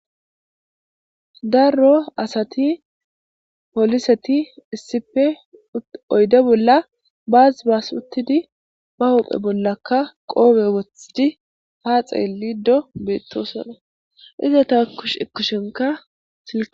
darro asati poliseti issipe oyde bolla baazi baas uttidi ba hophe bollaka qoome wothidi haa xeelido beettosona ize ta akkush ikkushenka silk